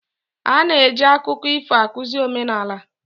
A na-eji akụkọ ifo akụzi omenala.